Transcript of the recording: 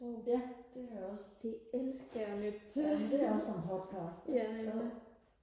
ja det har jeg også jamen det er også som podcast